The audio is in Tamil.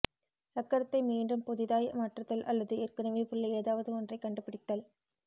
சக்கரத்தை மீண்டும் புதிதாய் மாற்றுதல் அல்லது ஏற்கனவே உள்ள ஏதாவது ஒன்றை கண்டுபிடித்தல்